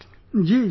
Ji Ji